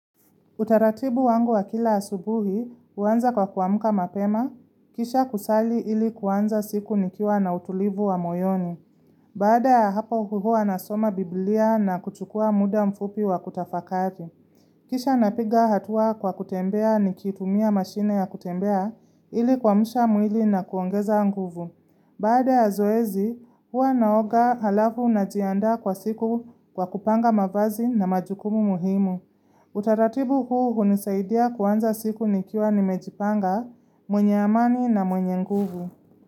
Utaratibu wangu wa kila asubuhi, huanza kwa kuamuka mapema, kisha kusali ili kuanza siku nikiwa na utulivu wa moyoni. Baada hapo huwa nasoma biblia na kuchukua muda mfupi wa kutafakari. Kisha napiga hatua kwa kutembea nikitumia mashine ya kutembea ilikuamsha mwili na kuongeza nguvu. Baada ya zoezi, huwa naoga halafu na jiandaa kwa siku kwa kupanga mavazi na majukumu muhimu. Utaratibu huu hunisaidia kuanza siku nikiwa nimejipanga, mwenye amani na mwenye nguvu.